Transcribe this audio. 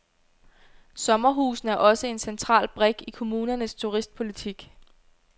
Sommerhusene er også en central brik i kommunernes turistpolitik.